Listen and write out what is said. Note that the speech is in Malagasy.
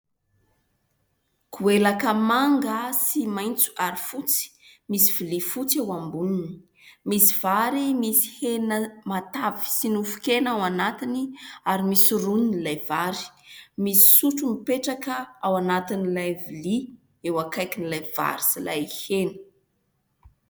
Goelaka manga sy maitso ary fotsy, misy vilia fotsy eo amboniny. Misy vary misy hena matavy sy nofon-kena ao anatiny ary misy roniny ilay vary. Misy sotro mipetraka ao anatin'ilay vilia eo akaikin'ilay vary sy ilay hena.